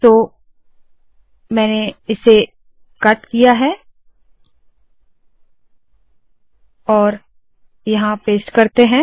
तो मैंने इसे कट किया है और यहाँ पेस्ट किया है